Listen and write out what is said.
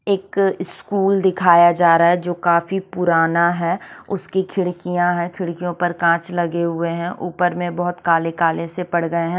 एक स्कूल दिखाया जा रहा है जो काफी पुराना है उसकी खिड़किया है खिड़कियों पर कांच लगे हुए है ऊपर में बोहत काले काले पढ़ गए है।